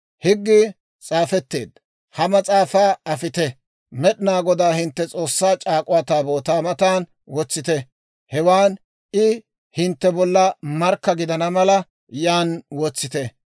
«Higgii s'aafetteedda ha mas'aafaa afite; Med'inaa Godaa hintte S'oossaa C'aak'uwaa Taabootaa matan wotsite. Hewaan I hintte bolla markka gidana mala yan wotsite.